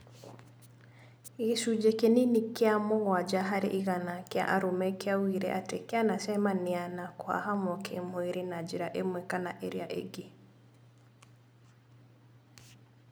Gĩcunjĩ kĩnini kĩa mũgwanja harĩ igana kĩa arũme kĩaugire atĩ kĩanacemania na kũhahamwo kĩ-mwĩrĩ na njĩra ĩmwe kana ĩrĩa ĩngĩ